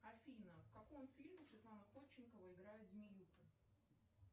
афина в каком фильме светлана ходченкова играет змеюку